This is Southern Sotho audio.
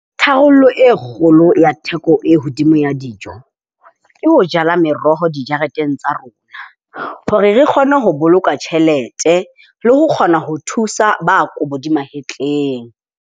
Tharollo e kgolo ya theko e hodimo ya dijo, ke ho jala meroho dijareteng tsa rona hore re kgone ho boloka tjhelete, le ho kgona ho thusa ba kobo di mahetleng.